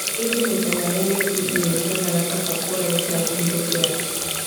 ĩndĩ maita marĩa maingĩ ĩmwe cionaga kaba kũũra gũkĩra kũhithũkĩra.